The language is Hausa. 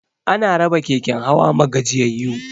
Ana raba keken hawa ma gajiyayu